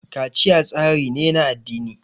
kaciya tsari ne na addini